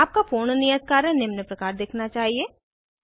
आपका पूर्ण नियत कार्य निम्न प्रकार दिखना चाहिए